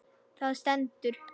Það stendur